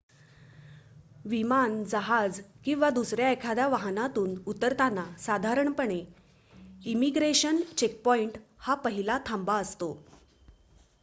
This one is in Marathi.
विमान जहाज किंवा दुसऱ्या एखाद्या वाहनातून उतरताना साधारणपणे इमिग्रेशन चेकपॉईंट हा पहिला थांबा असतो